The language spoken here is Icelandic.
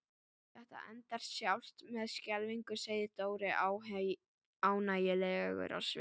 Þetta endar sjálfsagt með skelfingu segir Dóri ánægjulegur á svip.